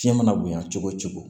Fiɲɛ mana bonɲa cogo o cogo